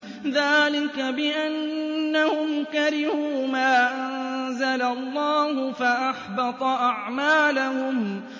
ذَٰلِكَ بِأَنَّهُمْ كَرِهُوا مَا أَنزَلَ اللَّهُ فَأَحْبَطَ أَعْمَالَهُمْ